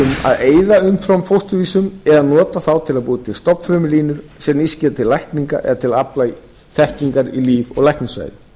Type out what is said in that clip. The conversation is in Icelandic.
um að eyða umframfósturvísum eða nota þá til að búa til stofnfrumulínur sem nýst geti til lækninga eða til að afla þekkingar í líf og læknisfræði